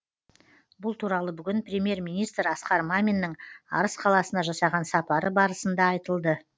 бұл туралы бүгін премьер министр асқар маминнің арыс қаласына жасаған сапары барысында айтылды